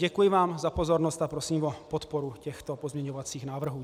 Děkuji vám za pozornost a prosím o podporu těchto pozměňovacích návrhů.